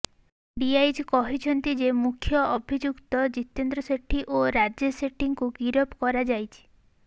DIG କହିଛନ୍ତି ଯେ ମୁଖ୍ୟ ଅଭିଯୁକ୍ତ ଜିତେନ୍ଦ୍ର ସେଠୀ ଓ ରାଜେଶ ସେଟ୍ଟୀଙ୍କୁ ଗିରଫ କରାଯାଇଛି